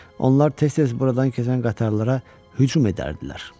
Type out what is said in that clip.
Onlar tez-tez buradan keçən qatarlara hücum edərdilər.